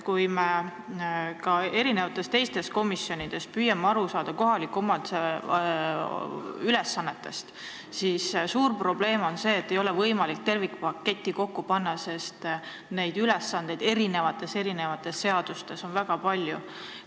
Kui me ka teistes komisjonides oleme püüdnud aru saada kohaliku omavalitsuse ülesannetest, siis on selgunud, et suur probleem on see, et ei ole võimalik tervikpaketti kokku panna, sest neid ülesandeid on eri seadustes väga palju.